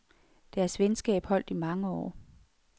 Deres venskab holdt i mange år.